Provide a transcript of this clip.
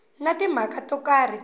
na timhaka to karhi ta